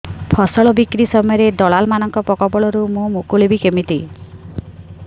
ଫସଲ ବିକ୍ରୀ ସମୟରେ ଦଲାଲ୍ ମାନଙ୍କ କବଳରୁ ମୁଁ ମୁକୁଳିଵି କେମିତି